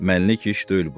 Məlik iş deyil bu.